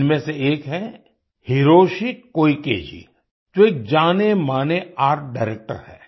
इनमें से एक हैं हिरोशि कोइके जी जो एक जानेमाने आर्ट डायरेक्टर हैं